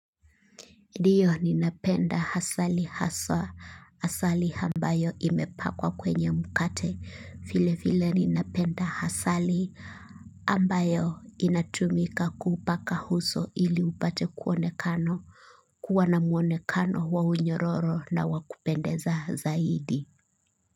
Dio ninapenda asali haswa, asali ambayo imepakwa kwenye mukate, file file ninapenda hasali ambayo inatumika kuupaka uso ili upate kuonekano, kuwa na muonekano wa unyororo na wakupendeza zaidi.